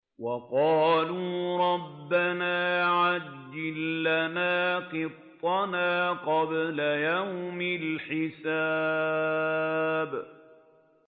وَقَالُوا رَبَّنَا عَجِّل لَّنَا قِطَّنَا قَبْلَ يَوْمِ الْحِسَابِ